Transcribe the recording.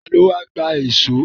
Ta ló wá gba èṣó?